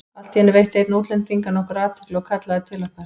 Allt í einu veitti einn útlendinganna okkur athygli og kallaði til okkar.